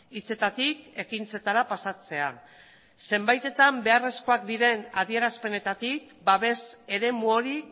hitzetatik ekintzetara pasatzea zenbaitetan beharrezkoak diren adierazpenetatik babes eremu hori